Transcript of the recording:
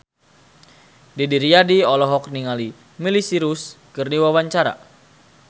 Didi Riyadi olohok ningali Miley Cyrus keur diwawancara